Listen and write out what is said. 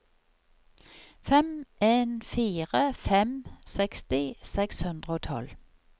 fem en fire fem seksti seks hundre og tolv